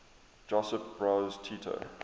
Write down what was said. josip broz tito